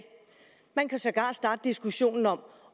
man kan sågar starte en diskussion om